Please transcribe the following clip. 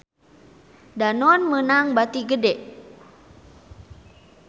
Danone meunang bati gede